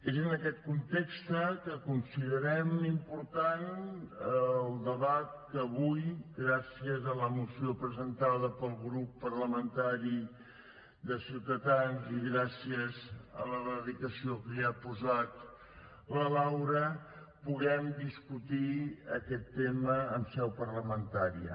és en aquest context que considerem important el debat que avui gràcies a la moció presentada pel grup parlamentari de ciutadans i gràcies a la dedicació que hi ha posat la laura puguem discutir aquest tema en seu parlamentària